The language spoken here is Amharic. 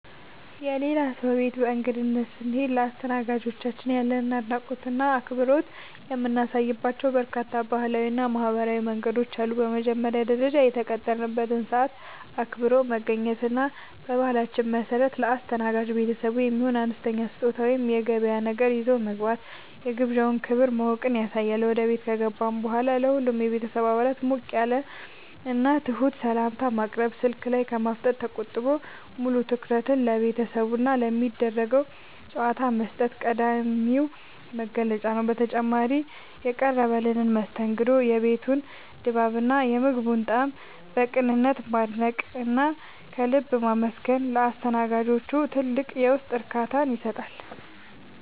የሌላ ሰው ቤት በእንግድነት ስንሄድ ለአስተናጋጆቻችን ያለንን አድናቆትና አክብሮት የምናሳይባቸው በርካታ ባህላዊና ማኅበራዊ መንገዶች አሉ። በመጀመሪያ ደረጃ፣ የተቀጠረበትን ሰዓት አክብሮ መገኘት እና በባህላችን መሠረት ለአስተናጋጅ ቤተሰቡ የሚሆን አነስተኛ ስጦታ ወይም የገበያ ነገር ይዞ መግባት የግብዣውን ክብር ማወቅን ያሳያል። ወደ ቤት ከገባን በኋላም ለሁሉም የቤተሰብ አባላት ሞቅ ያለና ትሑት ሰላምታ ማቅረብ፣ ስልክ ላይ ከማፍጠጥ ተቆጥቦ ሙሉ ትኩረትን ለቤተሰቡና ለሚደረገው ጨዋታ መስጠት ቀዳሚው መገለጫ ነው። በተጨማሪም፣ የቀረበልንን መስተንግዶ፣ የቤቱን ድባብና የምግቡን ጣዕም በቅንነት ማድነቅና ከልብ ማመስገን ለአስተናጋጆቹ ትልቅ የውስጥ እርካታን ይሰጣል።